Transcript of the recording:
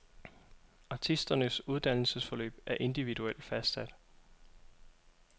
Artisternes uddannelsesforløb er individuelt fastsat.